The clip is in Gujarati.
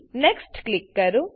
નેક્સ્ટ ક્લિક કરો